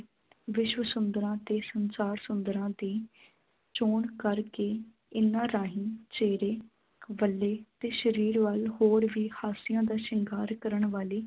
ਵਿਸ਼ਵ ਸੁੰਦਰਾਂ ਅਤੇ ਸੰਸਾਰ ਸੁੰਦਰਾਂ ਦੀ ਚੋਣ ਕਰਕੇ ਇਨ੍ਹਾਂ ਰਾਹੀਂ ਚਿਹਰੇ ਵੱਲੇ ਅਤੇ ਸਰੀਰ ਵੱਲ ਹੋਰ ਵੀ ਹਾਸਿਆਂ ਦਾ ਸ਼ਿੰਗਾਰ ਕਰਨ ਵਾਲੀ